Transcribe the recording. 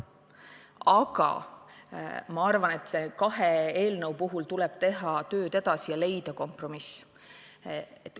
Aga ma arvan, et nende kahe eelnõuga tuleb teha tööd edasi ja leida kompromiss.